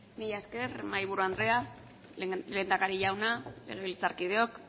mila esker mahaiburu andrea lehendakari jauna legebiltzarkideok